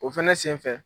O fɛnɛ senfɛ